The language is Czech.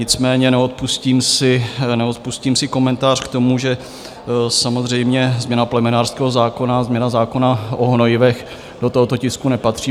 Nicméně neodpustím si komentář k tomu, že samozřejmě změna plemenářského zákona, změna zákona o hnojivech do tohoto tisku nepatří.